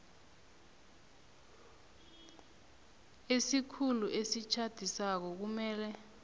isikhulu esitjhadisako kumele